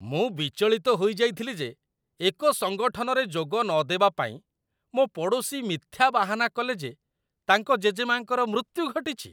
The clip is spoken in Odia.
ମୁଁ ବିଚଳିତ ହୋଇ ଯାଇଥିଲି ଯେ ଏକ ସଙ୍ଗଠନରେ ଯୋଗ ନଦେବା ପାଇଁ ମୋ ପଡ଼ୋଶୀ ମିଥ୍ୟା ବାହାନା କଲେ ଯେ ତାଙ୍କ ଜେଜେମା'ଙ୍କର ମୃତ୍ୟୁ ଘଟିଛି।